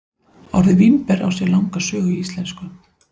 Orðið vínber á sér langa sögu í íslensku.